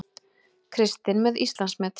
Kristinn með Íslandsmet